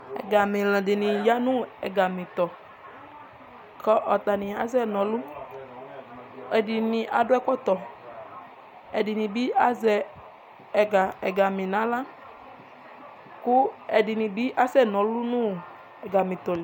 Egamela dɩnɩ ya nʋ egametɔ; kʋ atanɩ asɛ naɔlʋƐdɩnɩ adʋ ɛkɔtɔ, ɛdɩnɩ bɩ azɛ ɛga, ɛgame naɣla kʋ ɛdɩnɩ bɩ asɛ nɔlʋ nʋ ɛgametɔ li